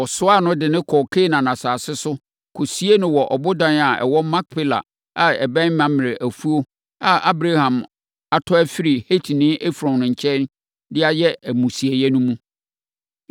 Wɔsoaa no, de no kɔɔ Kanaan asase so, kɔsiee no wɔ ɔboda a ɛwɔ Makpela a ɛbɛn Mamrɛ afuo a na Abraham atɔ afiri Hetini Efron nkyɛn de ayɛ amusieeɛ no mu.